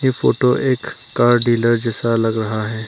Photo एक car dealer जैसा लग रहा है।